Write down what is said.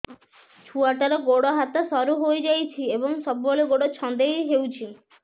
ଛୁଆଟାର ଗୋଡ଼ ହାତ ସରୁ ହୋଇଯାଇଛି ଏବଂ ସବୁବେଳେ ଗୋଡ଼ ଛଂଦେଇ ହେଉଛି